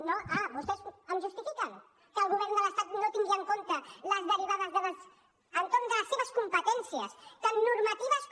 no ah vostès m’ho justifiquen que el govern de l’estat no tingui en compte les derivades entorn de les seves competències tant normatives com